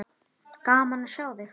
Gaman að sjá þig.